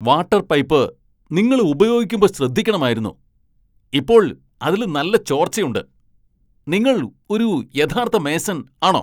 Water pipe നിങ്ങള് ഉപയോഗിക്കുമ്പോ ശ്രദ്ധിക്കണമായിരുന്നു, ഇപ്പോൾ അതില് നല്ല ചോർച്ചയുണ്ട്! നിങ്ങൾ ഒരു യഥാർത്ഥ മേസൺ ആണോ?